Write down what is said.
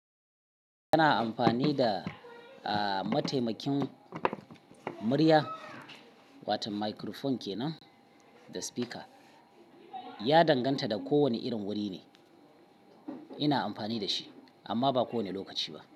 Kana amfani da, a mataimakin murya, wato microphone kenan da speaker. Ya danganta da ko wanne irin wuri ne. Ina amfani da shi amma ba kowanne lokaci ba.